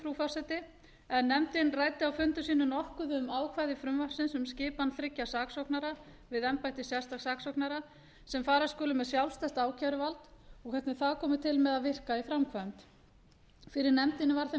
saksóknurunum frú forseti nefndin ræddi á fundum sínum nokkuð um ákvæði frumvarpsins um skipan þriggja saksóknara við embætti sérstaks saksóknara sem fara skulu með sjálfstætt ákæruvald og hvernig það komi til með að virka í framkvæmd fyrir nefndinni var þeim